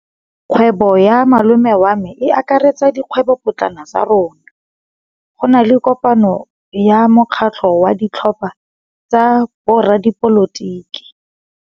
Kgwêbô ya malome wa me e akaretsa dikgwêbôpotlana tsa rona. Go na le kopanô ya mokgatlhô wa ditlhopha tsa boradipolotiki.